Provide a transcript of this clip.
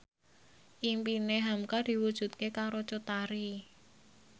impine hamka diwujudke karo Cut Tari